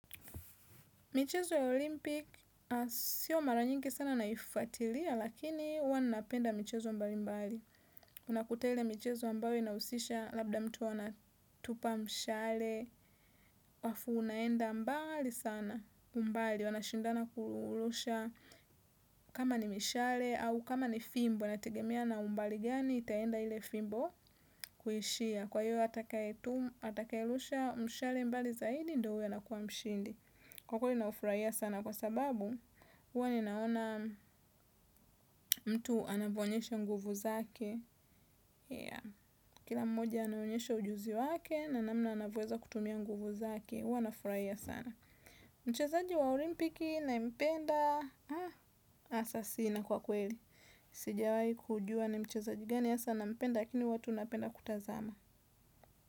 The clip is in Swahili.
Michezo ya olimpik, siyo mara nyingi sana naifatilia, lakini huwa napenda michezo mbali mbali. Unaku ile michezo ambayo inausisha, labda mtu anatupa mshale, afu unaenda mbali sana mbali. Wanashindana kurusha kama ni mishale au kama ni fimbo. Wanategemea na umbali gani, itaenda ile fimbo kuishia. Kwa hiyo, atakayelusha mshale mbali zaidi, ndo uyo anakuwa mshindi. Kwa kweli naufuraia sana kwa sababu uwa ninaona mtu anavoonyesha nguvu zake. Kila mmoja anaonyesha ujuzi wake na namna anavoweza kutumia nguvu zake uwa nafurahia sana. Mchezaji wa olimpiki nampenda asa sina kwa kweli. Sijawai kujua na mchezaji gani asa nampenda lakini huwa tu napenda kutazama.